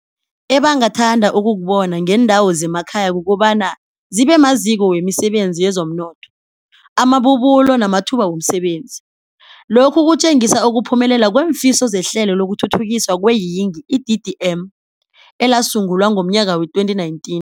Ebangathanda ukukubona ngeendawo zemakhaya kukobana zibemaziko wemisebenzi yezomnotho, amabubulo namathuba womsebenzi. Lokhu kutjengisa ukuphumelela kweemfiso zeHlelo lokuThuthukiswa kweeYingi, i-DDM, elasungulwa ngomnyaka wee-2019.